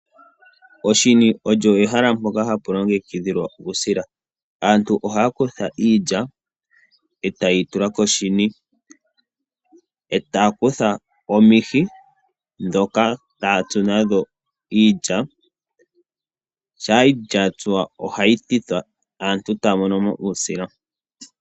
Oshini olyo ehala mpoka hapu longekidhilwa uusila. Aantu ohaya kutha iilya, eta yeyi tula koshini, etaya kutha omihi dhoka taya tsu nadho iilya, shampa iilya ya tsuwa ohayi thithwa, aantu etaya mono mo uusila.